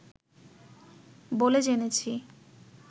বলে জেনেছি